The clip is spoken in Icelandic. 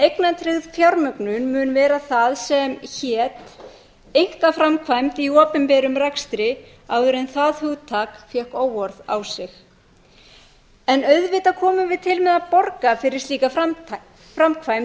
en eignatryggð fjármögnun mun vera það sem hét einkaframkvæmd í opinberum rekstri áður en það hugtak fékk óorð á sig en auðvitað kæmum við til með að borga fyrir slíka framkvæmd ef